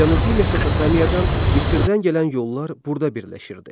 Cənubi Mesopotamiyadan, Misirdən gələn yollar burda birləşirdi.